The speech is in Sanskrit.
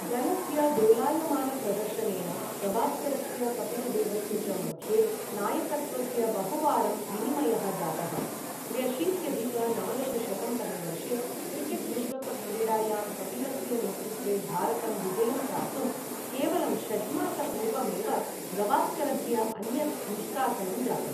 दलस्य दोलायमानप्रदर्शनेन गवास्करस्य कपिलदेवस्य च मध्ये नायकत्वस्य बहुवारं विनिमयः जातः, त्र्यशीत्यधिक नवदशशतं तमे वर्षे क्रिकेट् विश्वकप् क्रीडायां कपिलस्य नेतृत्वे भारतं विजयं प्राप्तुम् केवलं षड्मासपूर्वमेव गवास्करस्य अन्यत् निष्कासनं जातम्।